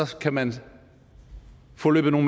kan man få løbet